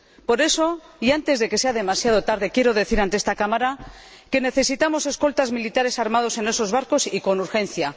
Por eso, y antes de que sea demasiado tarde, quiero decir ante esta Cámara que necesitamos escoltas militares armados en esos barcos, y con urgencia.